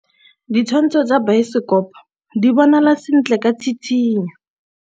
Ditshwantshô tsa biosekopo di bonagala sentle ka tshitshinyô.